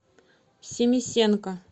семисенко